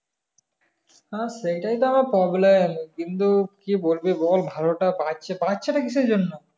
হ্যাঁ সেটাই তো problem কিন্তু কি বলবে বল বারো টা বাড়ছে বাড়ছে টা কিসের জন্য